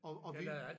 Og og vind